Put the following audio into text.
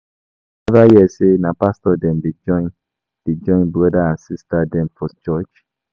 You neva hear sey na pastor dem dey join broda and sista dem for church?